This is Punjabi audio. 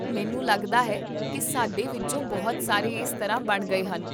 ਮੈਨੂੰ ਲੱਗਦਾ ਹੈ ਕੀ ਸਾਡੇ ਵਿੱਚੋਂ ਬਹੁਤ ਸਾਰੇ ਇਸ ਤਰ੍ਹਾਂ ਬਣ ਗਏ ਹਨ